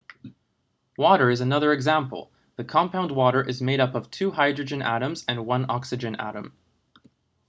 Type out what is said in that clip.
water is another example the compound water is made up of two hydrogen atoms and one oxygen atom